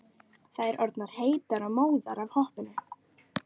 Þær orðnar heitar og móðar af hoppinu.